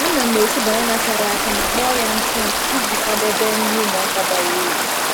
Ana m esi banana chara acha ma kpọọ ya ntụ ntụ iji kwadebe nri ụmụaka bara uru.